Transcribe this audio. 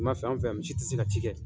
Ni ma fɛn fɛn misi ti se ka ci kɛ.